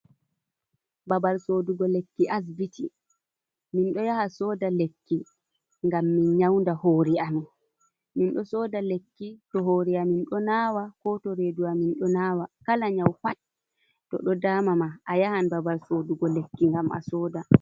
Babal sodugo lekki asbiti, min ɗo yaha soda lekki ngam min nyaunda hori amin, mindo soda lekki to hori amin ɗo nawa, ko to redu amin ɗo nawa, kala nyau pat to ɗo dama ma a yahan babal sodugo lekki ngam a soda.